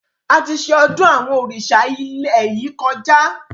Àti ṣe ọdún àwọn òrìṣà ilẹ̀ yìí kọjá